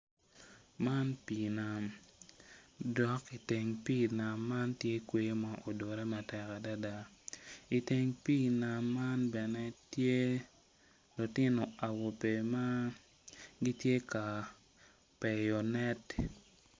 Man pii nam dok i teng pii man tye kweyo ma odure matek adada i teng pii nam man bene tye lutino awobe ma gitye ka peyo net.